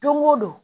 Don o don